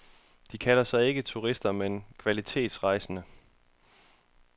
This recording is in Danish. De kalder sig ikke turister men kvalitetsrejsende.